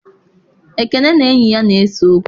Ekene na enyi ya na-ese okwu.